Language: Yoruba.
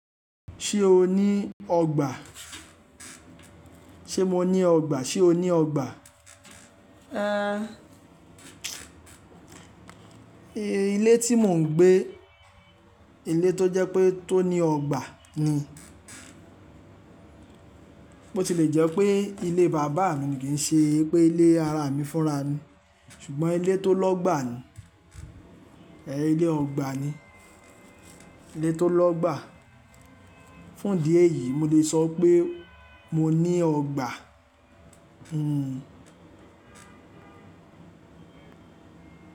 Ṣé o ní ọgbà? Ṣé mo ní ọgbà? Ṣé o ní ọgbà? Ilé tí mò ń gbé, ilé tó jẹ́ pé tó ní ọgbà ni. Bo ti lè jẹ́ pé ilé bàbá mi kì í ṣe pé ilé ara mi fúnra mi ṣùgbọ́n ilé tó lọ́gbà ni, ilé ọgbà ni, ilé tó lọ́gbà. Fún idi eyìí mo lè sọ pé mo ní ọgbà.